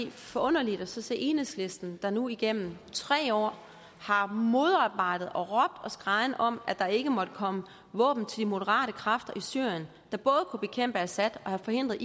er forunderligt at se enhedslisten der nu igennem tre år har modarbejdet og råbt og skreget om at der ikke måtte komme våben til de moderate kræfter i syrien der både kunne have bekæmpet assad og forhindret